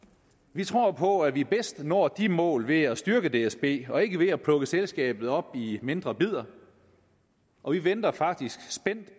vi tror på at vi bedst når de mål ved at styrke dsb og ikke ved at plukke selskabet op i mindre bidder og vi venter faktisk spændt